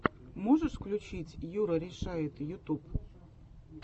можешь включить юрарешает ютуб